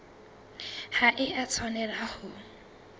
ha e a tshwanela ho